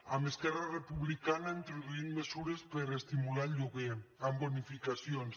amb esquerra republicana introduïm mesures per estimular el lloguer amb bonificacions